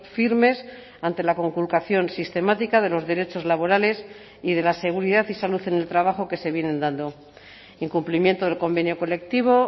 firmes ante la conculcación sistemática de los derechos laborales y de la seguridad y salud en el trabajo que se vienen dando incumplimiento del convenio colectivo